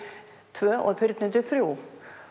tvö og fyrnindi þriðja